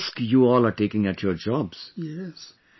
How much risk you all taking at your jobs